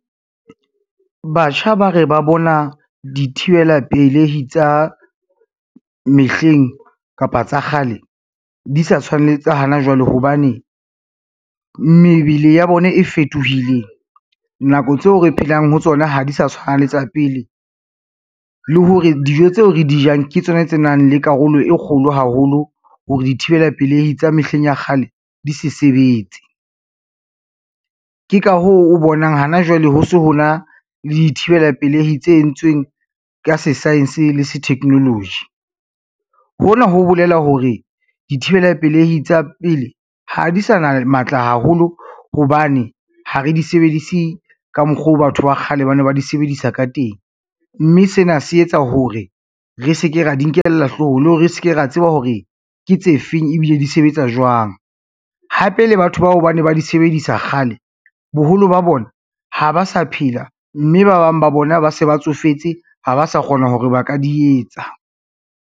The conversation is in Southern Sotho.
Batjha ba re ba bona dithibela pelehi tsa mehleng kapa tsa kgale di sa tshwane tsa hana jwale hobane, mebele ya bona e fetohile nako tseo re phelang ho tsona ha di sa tshwana le tsa pele, le hore dijo tseo re di jang ke tsona tse nang le karolo e kgolo haholo hore dithibela pelehi tsa mehleng ya kgale di sa sebetse. Ke ka hoo o bonang hana jwale ho se ho na le dithibela pelehi tse entsweng ka se-science le se-technology, hona ho bolela hore dithibela pelehi tsa pele ha di sa na matla haholo hobane ha re di sebedise ka mokgo batho ba kgale ba ne ba di sebedisa ka teng, mme sena se etsa hore re se ke ra di nkella hloohong le hore re se ke ra tseba hore ke tse feng ebile di sebetsa jwang. Hape le batho bao ba ne ba di sebedisa kgale, boholo ba bona ha ba sa phela, mme ba bang ba bona ba se ba tsofetse ha ba sa kgona hore ba ka di etsa.